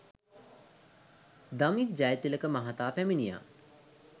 දමිත් ජයතිලක මහතා පැමිණියා.